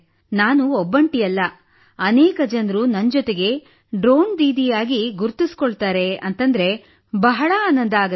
ನಾನು ಒಬ್ಬಂಟಿಯಾಗಿಲ್ಲ ಅನೇಕ ಜನರು ನನ್ನೊಂದಿಗೆ ಡ್ರೋನ್ ದೀದಿಯಾಗಿ ಗುರುತಿಸಿಕೊಳ್ಳುತ್ತಿದ್ದಾರೆ ಎಂದರೆ ಬಹಳ ಆನಂದವಾಗುತ್ತದೆ